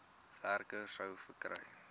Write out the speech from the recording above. werker sou gekry